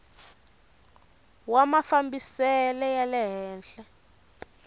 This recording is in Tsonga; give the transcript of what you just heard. wa mafambisele ya le henhla